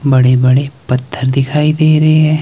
बड़े बड़े पत्थर दिखाई दे रहे हैं।